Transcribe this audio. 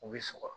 U bɛ sɔgɔ